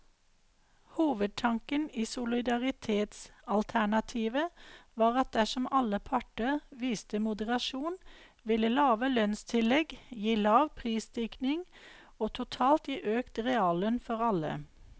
Hovedtanken i solidaritetsalternativet var at dersom alle parter viste moderasjon, ville lave lønnstillegg gi lav prisstigning og totalt gi økt reallønn for alle.